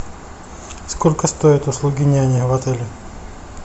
сколько стоят услуги няни в отеле